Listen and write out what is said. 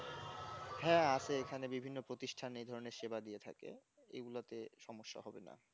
হ্যাঁ আছে এখানে বিভিন্ন প্রতিষ্ঠান এ ধরনের সেবা দিয়ে থাকে এগুলোতে সমস্যা হবে না